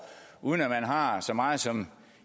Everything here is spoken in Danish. uden at man har så meget som